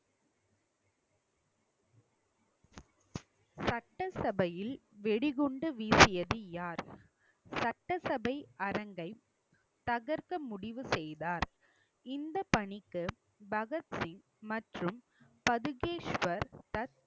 சட்டசபையில் வெடிகுண்டு வீசியது யார் சட்டசபை அரங்கை தகர்க்க முடிவு செய்தார் இந்த பணிக்கு பகத்சிங் மற்றும் பதுகேஷ்வர் தத்